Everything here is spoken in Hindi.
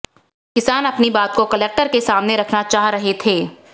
किसान अपनी बात को कलेक्टर के सामने रखना चाह रहे थे